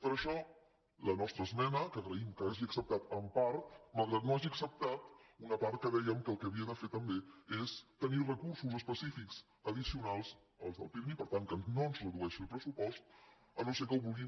per això la nostra esmena que agraïm que hagi acceptat en part malgrat que no hagi acceptat una part que hi dèiem que el que havia de fer també és tenir recursos específics addicionals als del pirmi per tant que no ens redueixi el pressupost si no és que ho volen